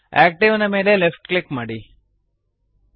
active ನ ಮೇಲೆ left click ಮಾಡಿರಿ